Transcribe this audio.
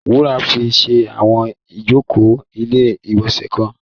Wúrà fi ṣe àwọn ìjókòó ilé-ìgbọ̀nsẹ̀ kan.